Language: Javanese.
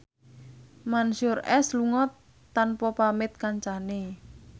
Mansyur S lunga tanpa pamit kancane